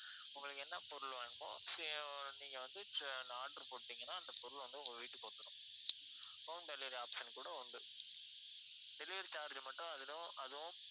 உங்களுக்கு என்ன பொருள் வேணுமோ அஹ் நீங்க வந்து ச்ச~ order போட்டுட்டிங்கன்னா அந்த பொருள் வந்து உங்க வீட்டுக்கு வந்திடும் home delivery option கூட உண்டு delivery charge மட்டும் அதுலயும் அதுவும்